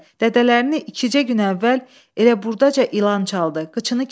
Dədələrini ikicə gün əvvəl elə burdaca ilan çaldı.